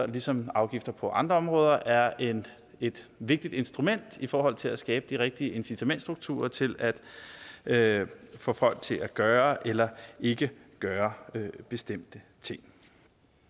ligesom afgifter på andre områder er et vigtigt instrument i forhold til at skabe de rigtige incitamentsstrukturer til at at få folk til at gøre eller ikke gøre bestemte ting